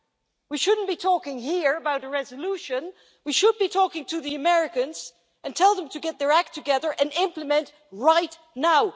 The first is that we should not be talking here about a resolution, we should be talking to the Americans and telling them to get their act together and implement right now.